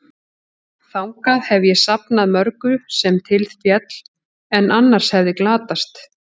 Þangað hef ég safnað mörgu, sem til féll, en annars hefði glatast.